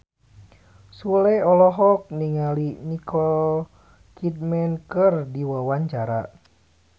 Sule olohok ningali Nicole Kidman keur diwawancara